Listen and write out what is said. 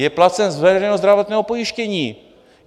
Je placen z veřejného zdravotního pojištění.